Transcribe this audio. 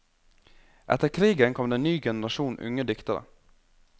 Etter krigen kom det en ny generasjon unge diktere.